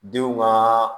Denw ka